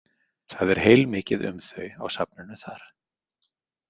Það er heilmikið um þau á safninu þar.